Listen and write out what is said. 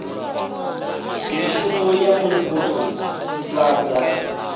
mishumo ya muvhuso i ḓivhadza